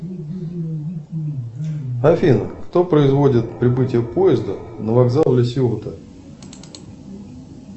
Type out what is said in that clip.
афина кто производит прибытие поезда на вокзал ла сьота